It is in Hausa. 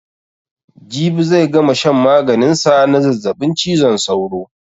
Jibi zai gama shan maganin sa na zazzabin cizon sauro.